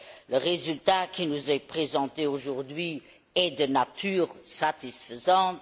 Le résultat qui nous est présenté aujourd'hui est de nature satisfaisante.